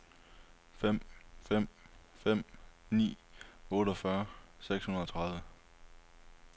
fem fem fem ni otteogfyrre seks hundrede og tredive